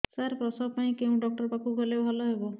ସାର ପ୍ରସବ ପାଇଁ କେଉଁ ଡକ୍ଟର ଙ୍କ ପାଖକୁ ଗଲେ ଭଲ ହେବ